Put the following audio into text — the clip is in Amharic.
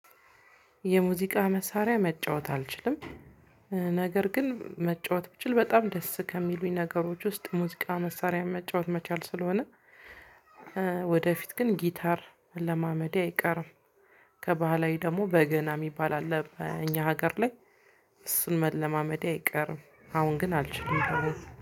የሙዚቃ መሳሪያ መጫወት አልችልም። ነገር ግን መጫወት ብችል በጣም ደስ ከሚሉኝ ነገሮች ውስጥ ሙዚቃ መሳሪያ መጫወት መቻል ስለሆነ። ወደፊት ግን ጊታር መለማመዴ አይቀርም። ከባህላዊ ደግሞ በገና የሚባል አለ እኛ ሀገር ላይ። እሱን መለማመዴ አይቀርም። አሁን ግን አልችልም።